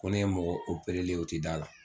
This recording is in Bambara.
Ko ne ye mɔgɔ operelen yen o tɛ d'a la